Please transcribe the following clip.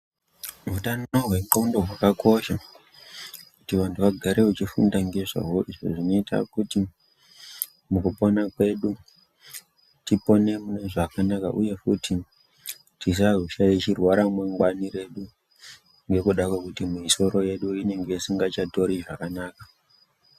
Hutano hwendxondo hwakakosha kuti vantu vagare vachifunda ngezvawo zvinoita kuti mukupona kwwedu tipone munezvakanaka uye kuti tisazoshaishirwa ramangwana redu ngekuda kwekuti misoro yedu inenge isingachatori zvakanaka.